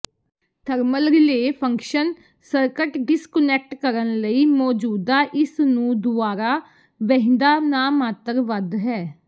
thermal relay function circuit disconnect ਕਰਨ ਲਈ ਮੌਜੂਦਾ ਇਸ ਨੂੰ ਦੁਆਰਾ ਵਹਿੰਦਾ ਨਾਮਾਤਰ ਵੱਧ ਹੈ